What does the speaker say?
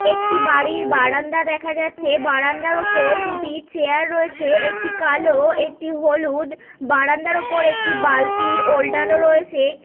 একটি বাড়ির বারান্দা দেখা যাচ্ছে বারান্দার উপর দুটি চেয়ার রয়েছে একটি কালো একটি হলুদ বারান্দার উপর একটি বালতি ওলটানো রয়েছে।